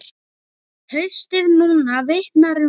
Haustið núna vitnar um það.